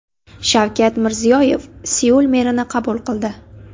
Shavkat Mirziyoyev Seul merini qabul qildi .